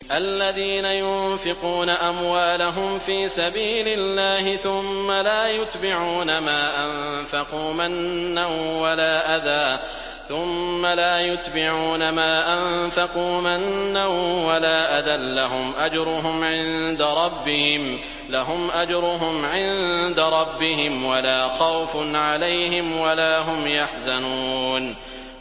الَّذِينَ يُنفِقُونَ أَمْوَالَهُمْ فِي سَبِيلِ اللَّهِ ثُمَّ لَا يُتْبِعُونَ مَا أَنفَقُوا مَنًّا وَلَا أَذًى ۙ لَّهُمْ أَجْرُهُمْ عِندَ رَبِّهِمْ وَلَا خَوْفٌ عَلَيْهِمْ وَلَا هُمْ يَحْزَنُونَ